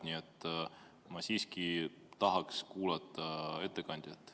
Nii et ma siiski tahaks kuulata ettekandjat.